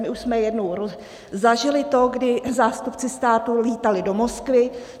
My už jsme jednou zažili to, kdy zástupci státu lítali do Moskvy.